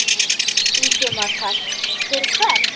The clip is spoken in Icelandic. Ingimar Karl: Fyrir hvern?